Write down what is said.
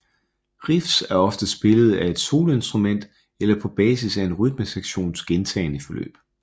Riffs er ofte spillet af et soloinstrument eller på basis af en rytmesektions gentagne forløb